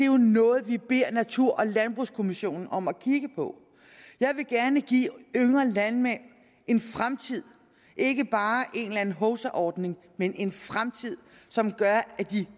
jo noget vi beder natur og landbrugskommissionen om at kigge på jeg vil gerne give de yngre landmænd en fremtid ikke bare en eller anden hovsaordning men en fremtid som gør at de